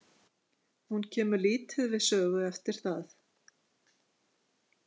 Hún kemur lítið við sögu eftir það.